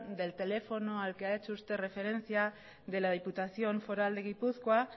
del teléfono al que ha hecho referencia de la diputación foral de gipuzkoa